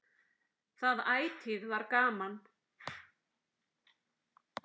Það ætíð var gaman.